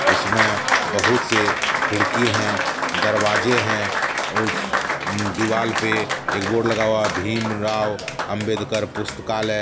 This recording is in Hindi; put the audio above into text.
उसमें बहुत से खड़की हैं दरवाजे हैं औ उस दिवाल पे एक बोर्ड लगा हुआ हैं भीम राव अंबेडकर पुस्तकालय।